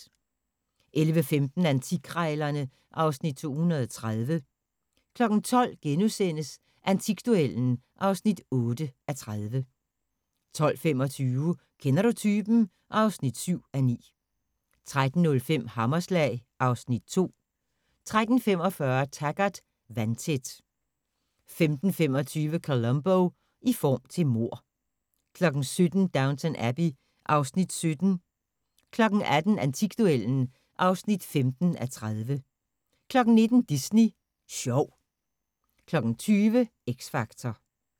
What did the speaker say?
11:15: Antikkrejlerne (Afs. 230) 12:00: Antikduellen (8:30)* 12:25: Kender du typen? (7:9) 13:05: Hammerslag (Afs. 2) 13:45: Taggart: Vandtæt 15:25: Columbo: I form til mord 17:00: Downton Abbey (Afs. 17) 18:00: Antikduellen (15:30) 19:00: Disney Sjov 20:00: X Factor